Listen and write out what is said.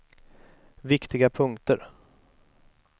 viktiga punkter